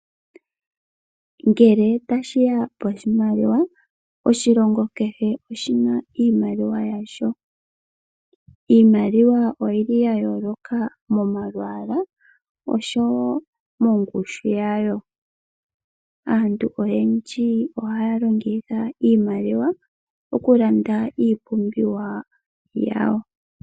Ngele tashiya poshimaliwa oshilongo kehe oshina iimaliwa yasho. Iimaliwa oyili ya yoloka omalwaala oshowo mongushu yawo. Aantu oyendji ohaya longitha iimaliwa oku landa iipumbiwa yawo.